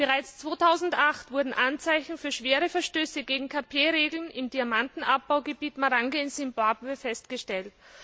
Bereits 2008 wurden Anzeichen für schwere Verstöße gegen KP Regeln im Diamantenabbaugebiet Marange in Simbabwe festgestellt.